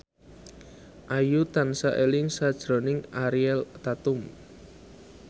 Ayu tansah eling sakjroning Ariel Tatum